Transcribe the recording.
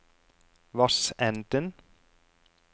Vassenden